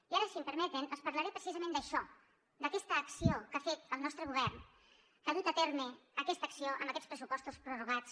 i ara si em permeten els parlaré precisament d’això d’aquesta acció que ha fet el nostre govern que ha dut a terme aquesta acció amb aquests pressupostos prorrogats